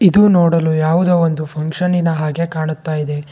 ಇದು ನೋಡಲು ಯಾವುದೋ ಒಂದು ಫಂಕ್ಷನಿನ ಹಾಗೆ ಕಾಣುತ್ತಾ ಇದೆ.